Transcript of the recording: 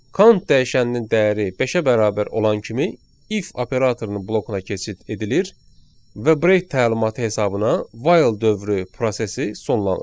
Count dəyişəninin dəyəri beşə bərabər olan kimi if operatorunun blokuna keçid edilir və break təlimatı hesabına while dövrü prosesi sonlanır.